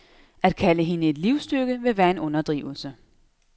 At kalde hende et livstykke ville være en underdrivelse.